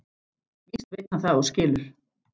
Víst veit hann það og skilur.